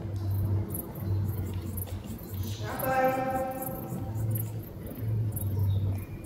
шабаев